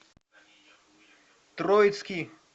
троицкий